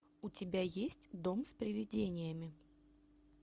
у тебя есть дом с привидениями